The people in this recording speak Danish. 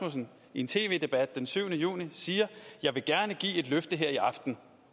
i en tv debat den syvende juni siger jeg vil gerne give et løfte her i aften